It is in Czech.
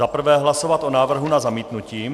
Zaprvé hlasovat o návrhu na zamítnutí.